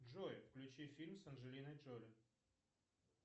джой включи фильм с анджелиной джоли